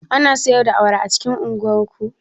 Ana siyar da awara a unguwar ku?